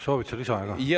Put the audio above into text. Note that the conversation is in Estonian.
Soovid sa lisaaega?